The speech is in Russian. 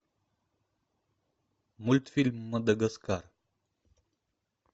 мультфильм мадагаскар